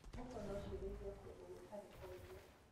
Mbũkũ nocirĩithio kũndũ gũtarĩ kunene.